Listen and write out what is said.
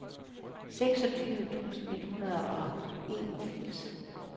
seksogtyve tusind et hundrede og enogfirs